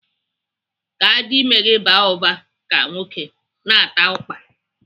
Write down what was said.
Ka adime gị baa ụba ka nwoke, na-ata ụkpa.